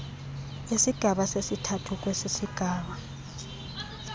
isigaba sesithathu kwesisigaba